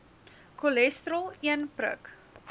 cholesterol een prik